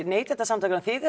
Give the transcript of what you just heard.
Neytendasamtakanna þið